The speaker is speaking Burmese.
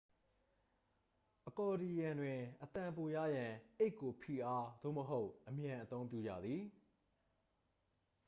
အကော်ဒီယံတွင် အသံပိုရရန် အိတ်ကို ဖိအားသို့မဟုတ် အမြန်အသုံးပြုရသည်